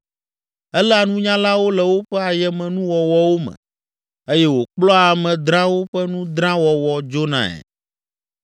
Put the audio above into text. Eléa nunyalawo le woƒe ayemenuwɔwɔwo me eye wòkplɔa ame drãwo ƒe nu drã wɔwɔ dzonae.